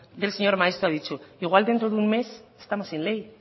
del señor maeztu ha dicho igual dentro de un mes estamos in ley